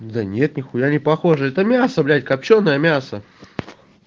да нет ни хуя не похоже это мясо блять копчёное мясо